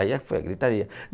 Aí foi a gritaria.